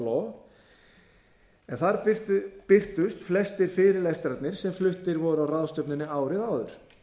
árbókar heimskautaréttarins þar birtust flestir fyrirlestrarnir sem fluttir voru á ráðstefnunni árið áður